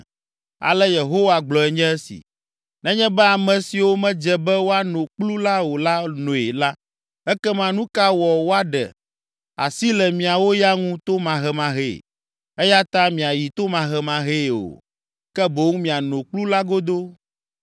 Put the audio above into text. Ale Yehowa gblɔe nye esi: “Nenye be ame siwo medze be woano kplu la o la noe la, ekema nu ka wɔ woaɖe asi le miawo ya ŋu tomahemahee? Eya ta miayi tomahemahee o, ke boŋ miano kplu la godoo.”